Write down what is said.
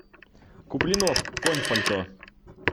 куплинов конь в пальто